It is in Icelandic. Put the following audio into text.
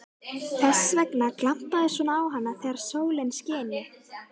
Þess vegna glampaði svona á hana þegar sólin skini.